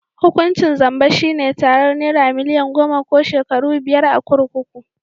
Hukuncin zamba shi ne tarar nera milian goma ko shekaru biyar a kurkuku.